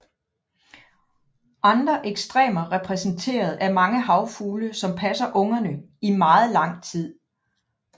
Andre ekstremer repræsenteres af mange havfugle som passer ungerne i meget lang tid